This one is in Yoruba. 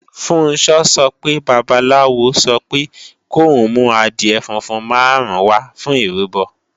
Funṣọ́ sọ pé babaláwo sọ pé kòún mú adìẹ funfun máàrún wá fún ìrúbọ